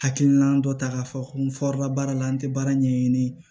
Hakilina dɔ ta k'a fɔ ko n baara la n tɛ baara ɲɛɲini